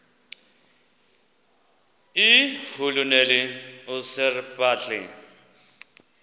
irhuluneli usir bartle